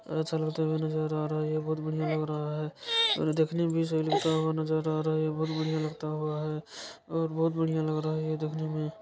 अच्छा लगते हुए नजर आ रहा है ये बहोत ही बढ़िया लग रहा है और देखने भी सही लगता हुआ नजर आ रहा है ये बहोत बढ़िया लगता हुआ है और बहोत बढ़िया लग रहा है ये देखने में।